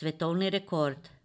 svetovni rekord.